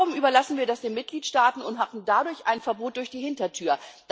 Warum überlassen wir das den Mitgliedstaaten und haben dadurch ein Verbot durch die Hintertür?